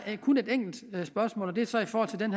kun et enkelt spørgsmål og det er så i forhold til den